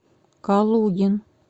калугин